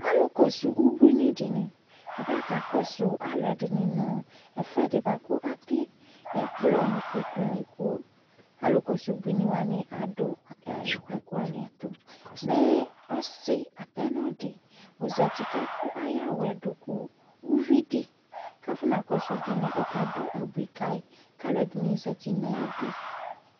Alʋkɔsʋ ubuinɩ dɩnɩ, abakakɔsʋ alʋɛdɩnɩ nʋ ɛfʋɛdɩ bʋa kʋ atɛ ɛkplɔ nʋ ikpokunɩ kʋ alʋkɔsʋ ubuinɩ wanɩ adʋ ɛ kpoku wanɩ ɛtʋ Mɛ ɔsɩ apɛnɔ dɩ ɔzati kʋ akʋ ayʋ awʋ yɛ dʋ kʋ uvi dɩ kʋ afɔnakɔsʋ ubuinɩ ɔkadʋ abui ka yɩ kʋ alʋɛdɩnɩ zati nʋ ayidu